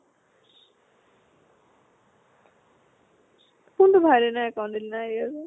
কোন টো ভাইলিনাৰ account